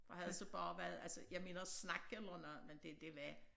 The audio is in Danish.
Og havde det så altså jeg mener snak eller noget men det det var